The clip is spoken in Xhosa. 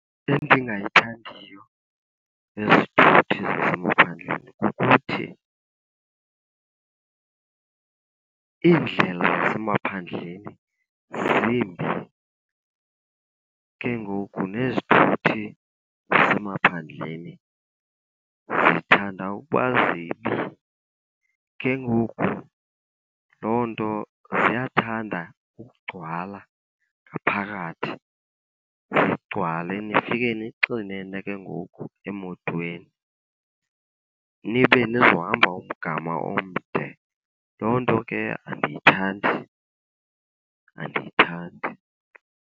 Endingayithandiyo ngezithuthi zasemaphandleni kukuthi iindlela zasemaphandleni zimbi, ke ngoku nezithuthi zasemaphandleni zithanda ukuba zibi. Ke ngoku loo nto ziyathanda ukugcwala ngaphakathi, zigcwale nifike nixinene ke ngoku emotweni, nibe nizohamba umgama omde. Loo nto ke andiyithandi, andiyithandi.